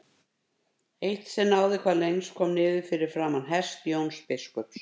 Eitt sem náði hvað lengst kom niður fyrir framan hest Jóns biskups.